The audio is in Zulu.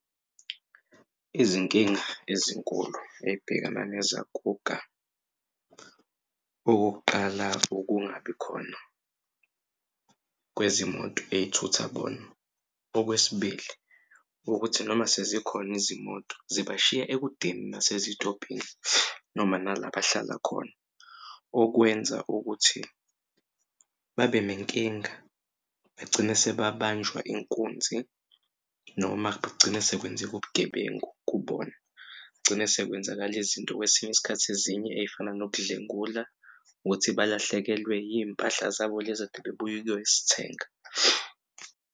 Izinkinga ezinkulu ey'bhekana nezaguga okokuqala ukungabikhona kwezimoto ey'thutha bona. Okwesibili ukuthi noma sezikhona izimoto zibashiya ekudeni nasezitobhini noma nala bahlala khona. Okwenza ukuthi babe nenkinga bagcine sebabanjwa inkunzi noma bagcine sekwenzek'ubugebengu kubona kugcine sekwenzakal'izinto kwesinye isikhathi ezinye ey'fana nokudlengula ukuthi balahlekelw'iy'mpahla zabo lezo bebuye ukuyozithenga.